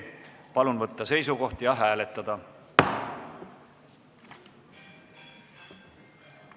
Palun võtta seisukoht ja hääletada!